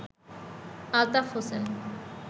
Altaf Hossain